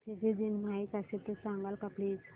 Fiji दिन माहीत असेल तर सांगाल का प्लीज